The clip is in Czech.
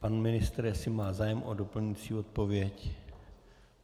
Pan ministr jestli má zájem o doplňující odpověď.